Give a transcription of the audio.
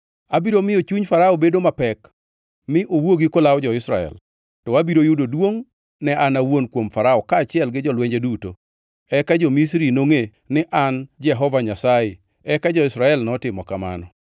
Abiro miyo chuny Farao bedo mapek, mi owuogi kolawo jo-Israel. To abiro yudo duongʼ ne an awuon kuom Farao kaachiel gi jolwenje duto, eka jo-Misri nongʼe ni an Jehova Nyasaye.” Eka jo-Israel notimo kamano.